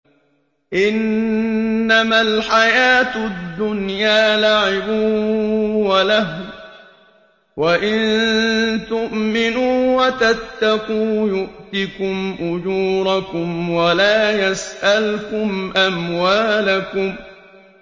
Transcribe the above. إِنَّمَا الْحَيَاةُ الدُّنْيَا لَعِبٌ وَلَهْوٌ ۚ وَإِن تُؤْمِنُوا وَتَتَّقُوا يُؤْتِكُمْ أُجُورَكُمْ وَلَا يَسْأَلْكُمْ أَمْوَالَكُمْ